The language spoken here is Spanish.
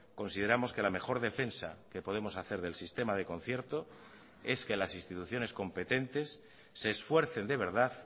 consideramos que la mejor defensa que podemos hacer del sistema de concierto es que las instituciones competentes se esfuercen de verdad